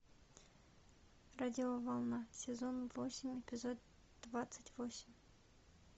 радиоволна сезон восемь эпизод двадцать восемь